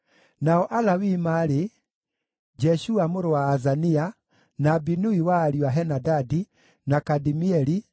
Nao Alawii maarĩ: Jeshua mũrũ wa Azania, na Binui wa ariũ a Henadadi, na Kadimieli,